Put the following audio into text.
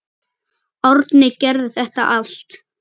Árni gerði þetta allt.